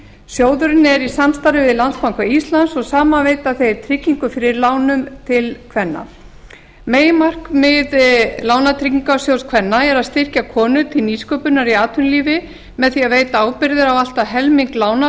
sjóðurinn er í samstarfi við landsbanka íslands og saman veita þeir tryggingu fyrir lánum til kvenna meginmarkmið lánatryggingarsjóðs kvenna er að styrkja konur til nýsköpunar í atvinnulífi með því að veita ábyrgðir á að allt helming lána